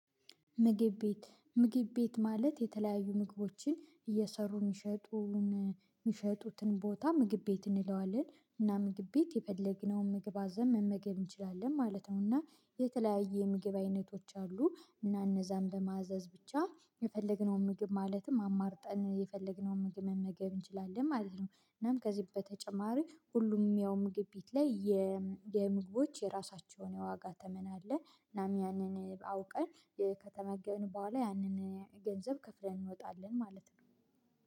ምግብ ቤት ምግብ ቤት ማለት የተለያዩ ምግቦችን እየሰሩ የሚሸጡትን ቦታ ምግብ ቤት እንለዋለን እና ምግብ ቤት የፈለግነውን ምግብ አዘን መመገብ እንችላለን ማለት ነው። እና የተለያዩ የምግብ አይነቶች አሉ እና እነዛን በማዘዝ ብቻ የፈለግነውን ምግብ ማለትም አማርጠን የፈለግነውን ምግብ መመገብ እንችላለን ማለት ነው። እናም ከዚህ በተጨማሪ ሁሉም ያው ምግብ ቤት ላይ የምግቦች የራሳቸውን የዋጋ ተመን አለ። እናም ያንን አውቀን ከተናገርን በኋላ ያንን ገንዘብ ከፍለን እንወጣለን ማለት ነው